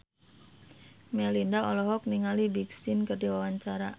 Melinda olohok ningali Big Sean keur diwawancara